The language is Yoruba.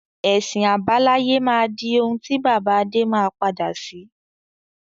Ẹ̀sìn àbáláyé máa di òun ti bàbá Adé má padà sí.